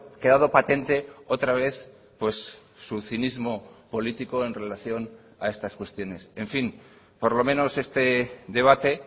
quedado patente otra vez pues su cinismo político en relación a estas cuestiones en fin por lo menos este debate